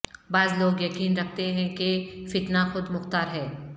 بعض لوگ یقین رکھتے ہیں کہ فتنہ خود مختار ہے